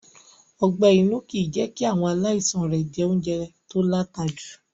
Ọgbé-inú kì í jẹ́ kí àwọn aláìsaln rẹ̀ jẹ oúnjẹ to láta jù.